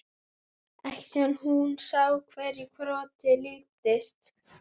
Ekki síðan hún sá hverju krotið líktist.